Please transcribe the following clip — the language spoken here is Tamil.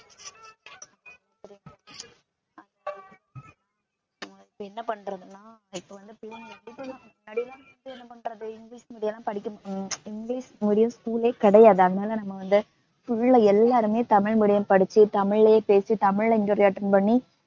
இங்கிலிஷ் medium school லே கிடையாது. அதனால நாங்க வந்து full ஆ எல்லாருமே தமிழ் medium படிச்சு தமிழ்லே பேசி, தமிழ்ல interview attend பண்ணி